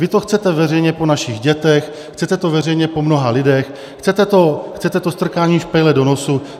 Vy to chcete veřejně po našich dětech, chcete to veřejně po mnoha lidech, chcete to strkání špejle do nosu.